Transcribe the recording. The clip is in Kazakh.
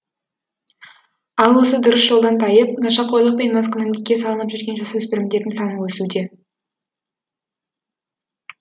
ал осы дұрыс жолдан тайып нашақорлық пен маскүнемдікке салынып жүрген жасөспірімдердің саны өсуде